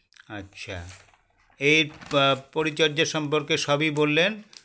আচ্ছা এর আ পরিচর্যা সম্পর্কে সবই বললেন